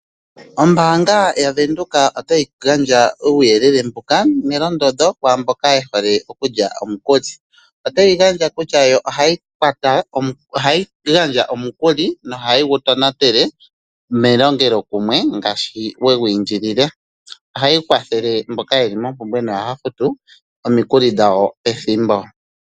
Ombaanga yaVenduka otayi gandja uuyelele nelondodho, kwaamboka yehole okulya omukuli. Otayi yelitha kutya yo ohayi gandja omukuli, na ohayi gu tonatele melongelokumwe ngaashi wa indilile omukuli. Ohayi kwatha mboka yeli mompumbwe na ohaya futu omikuli dhawo pethimbo.